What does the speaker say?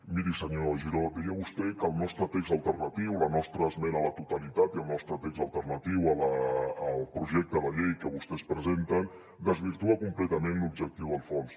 miri senyor giró deia vostè que el nostre text alternatiu la nostra esmena a la totalitat i el nostre text alternatiu al projecte de llei que vostès presenten desvirtua completament l’objectiu del fons